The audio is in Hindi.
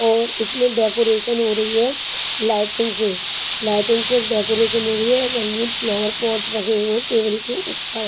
और इसमें डेकोरेशन हो रही है लाइटिंग से लाइटिंग से डेकोरेशन हो रही है रंगीन फ्लावर पॉट रखे हुए हैं टेबल के ऊपर।